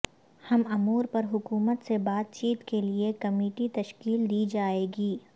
ہم امور پر حکومت سے بات چیت کے لیے کمیٹی تشکیل دی جائے گی